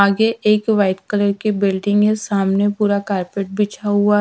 आगे एक white colour की बिल्डिंग है सामने पूरा कार्पेट बिछा हुआ है।